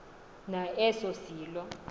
na eso silo